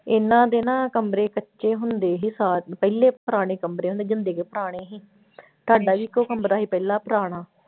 ਇਹਨਾਂ ਦੇ ਨਾ ਕਮਰੇ ਕੱਚੇ ਹੁੰਦੇ ਸੀ ਸਾ ਪਹਿਲੇ ਪੁਰਾਣੇ ਕਮਰੇ ਹੁੰਦੇ ਜਿੰਦੇ ਕੇ ਪੁਰਾਣੇ ਸੀ ਸਾਡਾ ਵੀ ਇੱਕੋ ਕਮਰਾ ਸੀ ਪਹਿਲਾਂ ਪੁਰਾਣਾ।